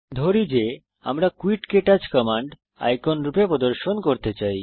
ধরি যে আমরা কুইট ক্টাচ কমান্ড আইকন রূপে প্রদর্শন করতে চাই